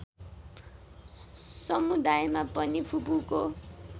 समुदायमा पनि फूपूको